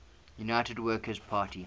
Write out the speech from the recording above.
united workers party